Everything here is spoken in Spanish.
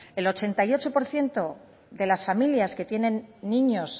el ochenta y ocho por ciento de las familias que tienen niños